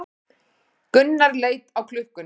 Gunnar leit á klukkuna.